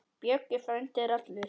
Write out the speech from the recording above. Böggi frændi er allur.